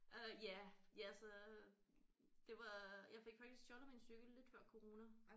Øh ja ja altså det var jeg fik faktisk stjålet min cykel lidt før corona